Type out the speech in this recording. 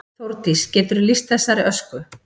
Þórdís: Geturðu lýst þessari ösku?